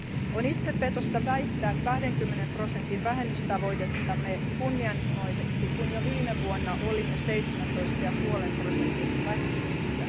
On itsepetosta väittää 20 prosentin vähennystavoitettamme kunnianhimoiseksi, kun jo viime vuonna olimme 17,5 prosentin vähennyksessä.